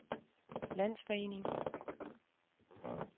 landsforening